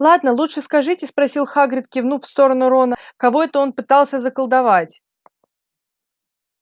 ладно лучше скажите спросил хагрид кивнув в сторону рона кого это он пытался заколдовать